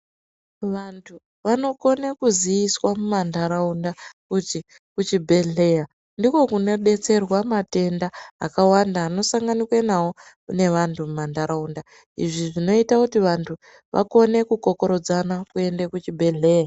Vantu vanokona kuziiswa mumandaraunda kuti kuchibhehleya ndiko kune betserwa matenda akawanda anosanganikwa nawo ngevantu mumandaraunda izvi zvinoita kuti vantu vakone kukokorodzana kuenda kuchibhehleya.